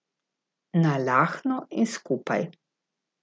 Nalahno in skupaj.